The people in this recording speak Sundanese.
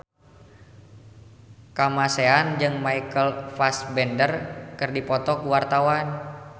Kamasean jeung Michael Fassbender keur dipoto ku wartawan